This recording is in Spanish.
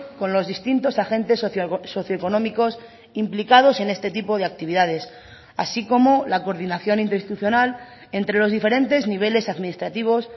con los distintos agentes socioeconómicos implicados en este tipo de actividades así como la coordinación interinstitucional entre los diferentes niveles administrativos